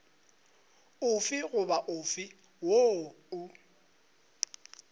ofe goba ofe woo o